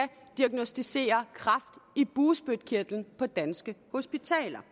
diagnosticere kræft i bugspytkirtlen på danske hospitaler